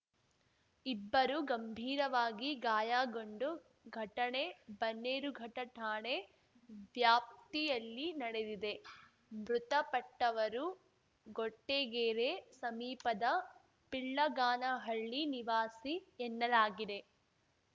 ಇಬ್ಬರು ಗಂಭೀರವಾಗಿ ಗಾಯಗೊಂಡು ಘಟನೆ ಬನ್ನೇರುಘಟ್ಟಠಾಣೆ ವ್ಯಾಪ್ತಿಯಲ್ಲಿ ನಡೆದಿದೆ ಮೃತಪಟ್ಟವರು ಗೊಟ್ಟೆಗೆರೆ ಸಮೀಪದ ಪಿಳ್ಳಗಾನಹಳ್ಳಿ ನಿವಾಸಿ ಎನ್ನಲಾಗಿದೆ